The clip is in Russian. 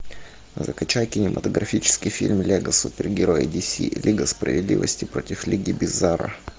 закачай кинематографический фильм лего супергерои ди си лига справедливости против лиги бизарро